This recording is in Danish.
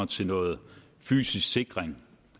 til noget fysisk sikring